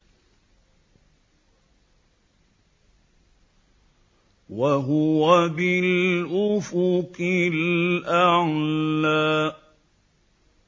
وَهُوَ بِالْأُفُقِ الْأَعْلَىٰ